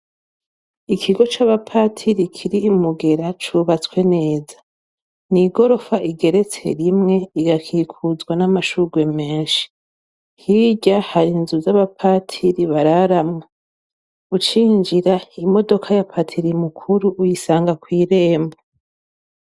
Ikigo c'abapatiri kiri i Mugera, cubatswe neza. Ni igorofa igeretse rimwe, igakikuzwa n'amashurwe menshi. Hirya hari inzu z'abapatiri bararamwo. Ucinjira, imodoka ya patiri mukuru uyisanga kw'irembo.